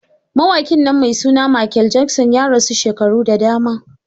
Mawaƙi nan mai suna Michael Jackson ya rasu shekaru da dama.